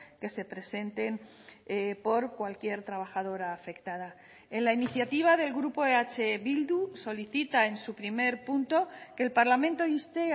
que se presenten por cualquier trabajadora afectada en la iniciativa del grupo eh bildu solicita en su primer punto que el parlamento inste